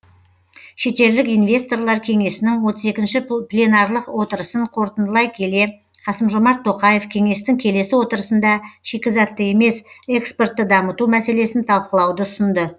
шетелдік инвесторлар кеңесінің отыз екінші пленарлық отырысын қорытындылай келе қасым жомарт тоқаев кеңестің келесі отырысында шикізатты емес экспортты дамыту мәселесін талқылауды ұсынды